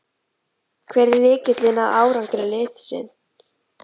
Hver er lykillinn að árangri liðsins?